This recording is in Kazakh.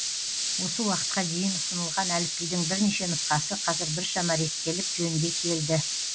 осы уақытқа дейін ұсынылған әліпбидің бірнеше нұсқасы қазір біршама реттеліп жөнге келді